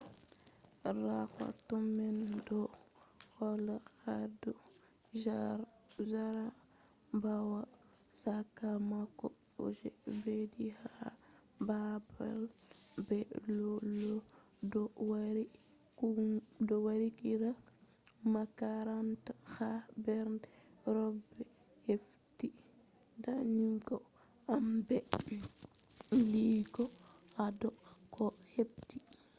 rahoto man do holla hado jarabawa sakamako je beddi ha babal be lau lau bo yari qara makaranta ha dar kobe hefti damuwaji amma be huwai hado koh be hefti